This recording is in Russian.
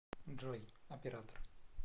джой оператор